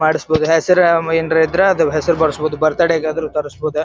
ಮಾಡ್ಸಬಹುದ್ ಹೆಸ್ರ್ ಏನಾರ ಇದ್ರ ಅದ್ ಹೆಸ್ರ್ ಬರಸ್ಬಹುದು ಬರ್ತ್ಡೇ ಗಾದ್ರು ತರಸ್ಬಹುದ್.